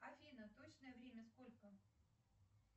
афина точное время сколько